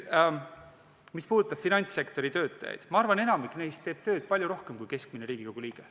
Mis puudutab finantssektori töötajaid, siis ma arvan, et enamik neist teeb tööd palju rohkem kui keskmine Riigikogu liige.